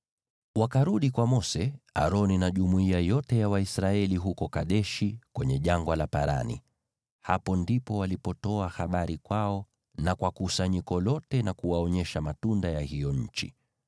Wakarudi kwa Mose, Aroni na jumuiya yote ya Waisraeli huko Kadeshi kwenye Jangwa la Parani. Hapo ndipo walipotoa habari kwao na kwa kusanyiko lote na kuwaonyesha matunda ya hiyo nchi.